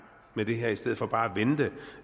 med det her i stedet for bare